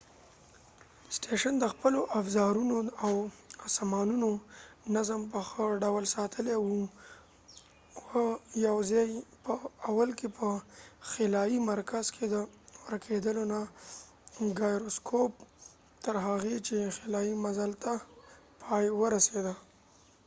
سټیشن د خپلو افزارونو او سامانونو نظم په ښه ډول ساتلی وه و یواځی په اول کې په خلایې مرکز کې د ګایروسکوپ gyroscope ورکېدلو نه تر هغې چې خلایې مزل تر پای ورسیده